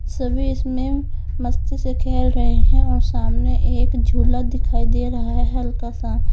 सभी इसमें मस्ती से खेल रहे हैं और सामने एक झूला दिखाई दे रहा है हल्का सा।